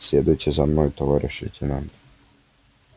следуйте за мной товарищ лейтенант